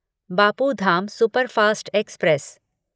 Bapu Dham superfast express